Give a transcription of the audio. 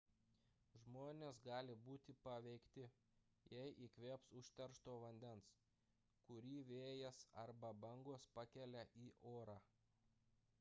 žmonės gali būti paveikti jei įkvėps užteršto vandens kurį vėjas arba bangos pakelia į orą